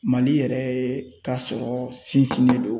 Mali yɛrɛ ka sɔrɔ sinsinnen don